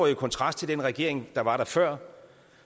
i kontrast til den regering der var der før